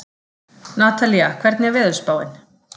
Natalía, hvernig er veðurspáin?